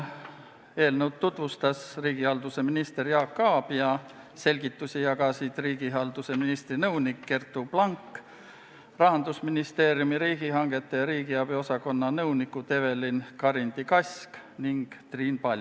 Eelnõu tutvustas riigihalduse minister Jaak Aab ja selgitusi jagasid riigihalduse ministri nõunik Gerttu Blank ning Rahandusministeeriumi riigihangete ja riigiabi osakonna nõunikud Evelin Karindi-Kask ning Triin Paljak.